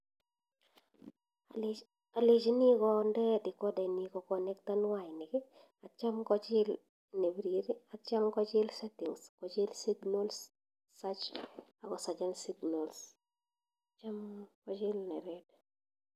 Alechini konde decorder ini koconecten wainik atyam kochil nebirir atyam kochil settings kochil signals search akosearchen signals tyam kochil ne red.